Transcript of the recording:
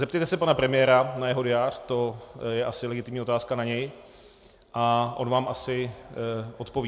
Zeptejte se pana premiéra na jeho diář, to je asi legitimní otázka na něj, a on vám asi odpoví.